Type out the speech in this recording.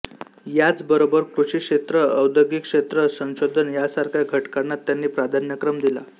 याचबरोबर कृषीक्षेत्र औद्योगिकक्षेत्र संशोधन यासारख्या घटकांना त्यांनी प्राधान्यक्रम दिला